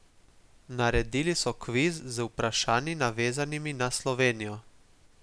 Naredili so si kviz, z vprašanji navezanimi na Slovenijo.